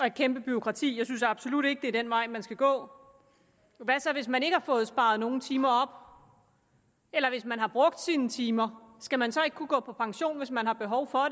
et kæmpe bureaukrati og jeg synes absolut ikke det er den vej man skal gå hvad så hvis man ikke har fået sparet nogen timer op eller hvis man har brugt sine timer skal man så ikke kunne gå på pension hvis man har behov for